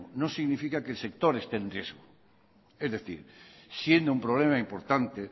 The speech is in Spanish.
no significa que el sector esté en riesgo es decir siendo un problema importante